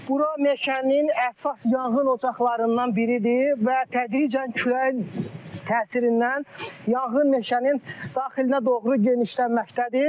Bura meşənin əsas yanğın ocaqlarından biridir və tədricən küləyin təsirindən yanğın meşənin daxilinə doğru genişlənməkdədir.